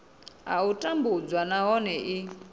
a u tambudzwa nahone i